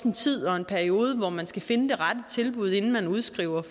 en tid og en periode hvor man skal finde det rette tilbud inden man udskriver